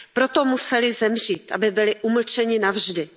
Proto museli zemřít, aby byli umlčeni navždy.